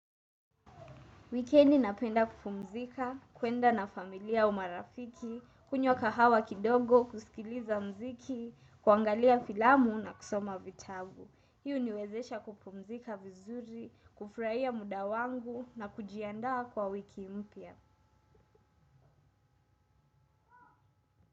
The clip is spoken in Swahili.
Wikendi napenda kupumzika, kwenda na familia au marafiki, kunywa kahawa kidogo, kusikiliza mziki, kuangalia filamu na kusoma vitabu. Hii huwezesha kupumzika vizuri, kufurahia mda wangu na kujiandaa kwa wiki mpya.